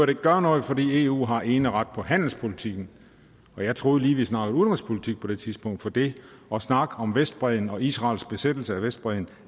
vil gøre noget fordi eu har eneret på handelspolitikken og jeg troede lige vi snakkede udenrigspolitik på det tidspunkt for det og snak om vestbredden og israels besættelse af vestbredden